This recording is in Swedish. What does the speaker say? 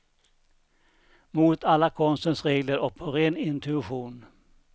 Mot alla konstens regler och på ren intuition.